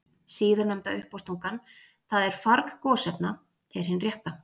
Síðarnefnda uppástungan, það er farg gosefna, er hin rétta.